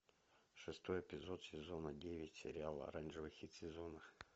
шестой эпизод сезона девять сериала оранжевый хит сезона